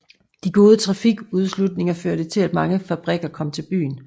De gode trafiktilslutninger førte til at mange fabrikker kom til byen